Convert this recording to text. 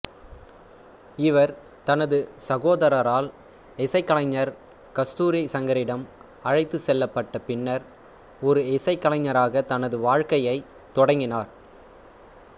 இவர் தனது சகோதரரால் இசைக்கலைஞர் கஸ்தூரி சங்கரிடம் அழைத்துச் செல்லப்பட்ட பின்னர் ஒரு இசைக்கலைஞராக தனது வாழ்க்கையைத் தொடங்கினார்